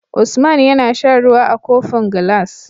Usman yAna shan ruwa a kofin gilas